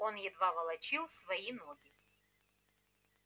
он едва волочил свои ноги